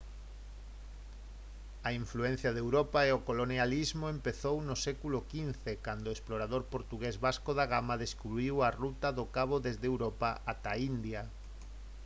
a influencia de europa e o colonialismo empezaron no século xv cando o explorador portugués vasco da gama descubriu a ruta do cabo desde europa ata a india